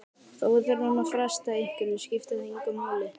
Þó við þurfum að fresta einhverju skiptir það engu máli.